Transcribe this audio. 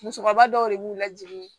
Musokɔrɔba dɔw de b'u lajigin